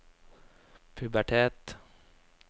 pubertet